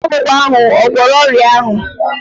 Mkpakwụkwọ ahụ ò gwọrọ ọrịa ahụ?